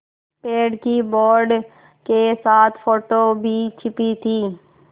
पेड़ की बोर्ड के साथ फ़ोटो भी छपी थी